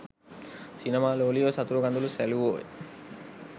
සිනමා ලෝලියෝ සතුටු කඳූළු සැළුවෝය